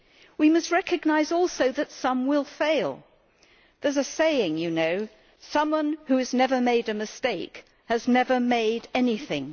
We must recognise also that some will fail there is a saying, you know, that someone who has never made a mistake has never made anything.